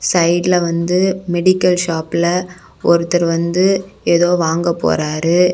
சைடுல வந்து மெடிக்கல் ஷாப்ல ஒருத்தர் வந்து ஏதோ வாங்க போறாரு.